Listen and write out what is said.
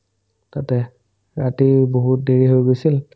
তাতে ৰাতি বহুত দেৰি হৈ গৈছিল